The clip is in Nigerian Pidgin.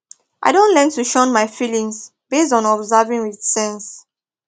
i don learn to shun my feelings based on observing with sense